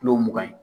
Kilo mugan ye